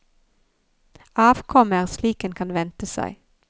Avkommet er slik en kan vente seg.